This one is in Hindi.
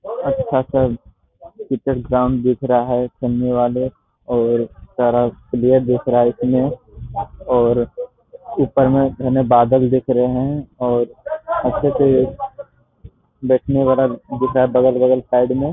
अच्छा सब क्रिकेट ग्राउंड दिख रहा है खेलने वाले और सारा प्लेयर दिख रहा है इसमें और ऊपर में घने बादल दिख रहे हैं और अच्छे से बैठने वाला दिख रहा है बगल-बगल साइड में।